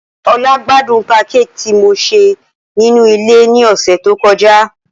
Ola gbadun pankéèkì ti mo ṣe ninu ile ni ọsẹ to kọja.